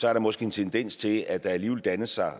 er der måske en tendens til at der alligevel danner sig